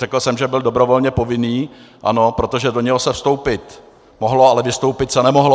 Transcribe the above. Řekl jsem, že byl dobrovolně povinný, ano, protože do něj se vstoupit mohlo, ale vystoupit se nemohlo.